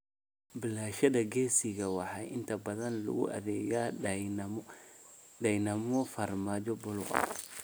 Baalasheeda gisiga waxaa inta badan lagu adeegaa dhaymo farmaajo buluug ah.